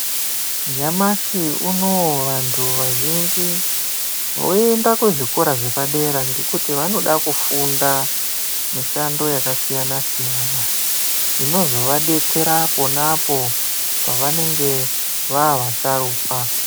Nyamashi unouyu vantu vazhinji voenda kuzvikora zvepadera dera nekuti vanoda kufunda mishando yakasiyana siyana inozovabetsera ponapo pavanenge vavasharuka.